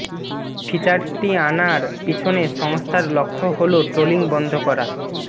ফিচারটি আনার পিছনে সংস্থার লক্ষ্য হল ট্রোলিং বন্ধ করা